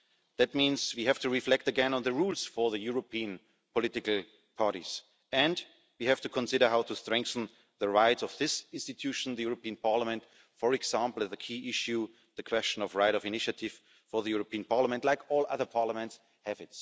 That means we have to reflect again on the rules for the European political parties, and we have to consider how to strengthen the rights of this institution the European Parliament for example on the key issue, the question of right of initiative for the European Parliament, like all other parliaments have.